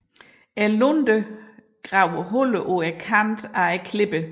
Lunden graver huller på kanten af klipperne